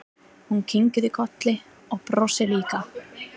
Hún kinkar kolli og brosir líka.